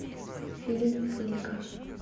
фильм флика